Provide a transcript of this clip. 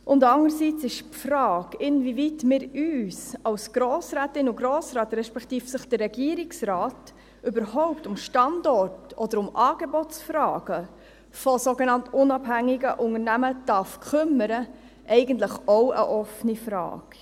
Andererseits ist die Frage, inwieweit wir uns als Grossrätinnen und Grossrätin, respektive inwieweit sich der Regierungsrat überhaupt um Standort- oder um Angebotsfragen solcher sogenannt unabhängiger Unternehmen kümmern darf, eigentlich auch eine offene Frage.